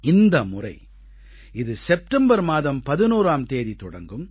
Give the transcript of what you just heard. இந்த முறை இது செப்டெம்பர் மாதம் 11ஆம் தேதி தொடங்கும்